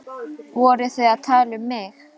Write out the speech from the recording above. Voruð þið að tala um mig?